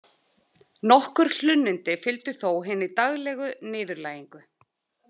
Nokkur hlunnindi fylgdu þó hinni daglegu niðurlægingu.